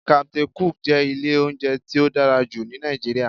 "Captain cook" jẹ́ ilé oúnjẹ tí ó dára jù ní Nàìjíríà